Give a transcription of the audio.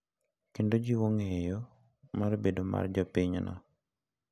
Kendo jiwo ng’eyo mar bedo mar jopinyno..